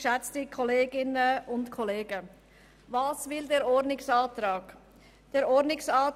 Was fordert dieser Ordnungsantrag der Grünen?